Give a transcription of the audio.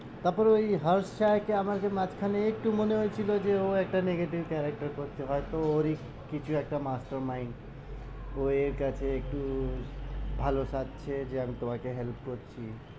তারপরে ওই কে আমার মাঝখানে একটু মনে হয়েছিল যে ও একটা negative character করছে হয় তো ওরই কিছু একটা master mind ও এর কাছে একটু ভালো সাজছে যে আমি তোমাকে help করছি।